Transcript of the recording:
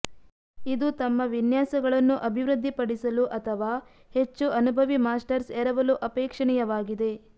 ಇದು ತಮ್ಮ ವಿನ್ಯಾಸಗಳನ್ನು ಅಭಿವೃದ್ಧಿಪಡಿಸಲು ಅಥವಾ ಹೆಚ್ಚು ಅನುಭವಿ ಮಾಸ್ಟರ್ಸ್ ಎರವಲು ಅಪೇಕ್ಷಣೀಯವಾಗಿದೆ